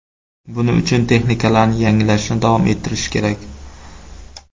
Buning uchun texnikalarni yangilashni davom ettirish kerak.